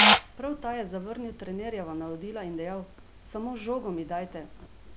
Prav ta je zavrnil trenerjeva navodila in dejal: "Samo žogo mi dajte!